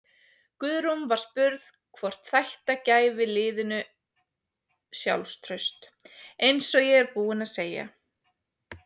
Guðrún var spurð hvort þætta gæfi liðinu sjálfstraust: Eins og ég er búinn að segja.